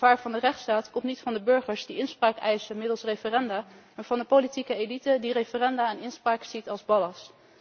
Het gevaar voor de rechtsstaat komt niet van de burgers die inspraak eisen middels referenda, maar van de politieke elite die referenda en inspraak ziet als ballast.